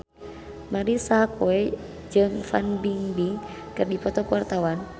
Marisa Haque jeung Fan Bingbing keur dipoto ku wartawan